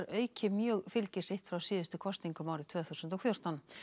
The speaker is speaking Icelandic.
auki mjög fylgi sitt frá síðustu kosningum tvö þúsund og fjórtán